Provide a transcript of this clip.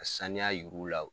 Ka saniya yir'u la.